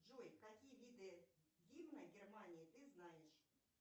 джой какие виды гимна германии ты знаешь